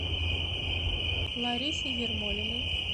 ларисе ермолиной